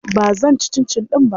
Ba zan ci cincin ɗin ba.